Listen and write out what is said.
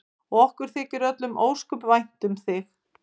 Og okkur þykir öllum ósköp vænt um þig.